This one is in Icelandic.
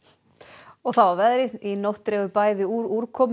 og þá að veðri í nótt dregur bæði úr úrkomu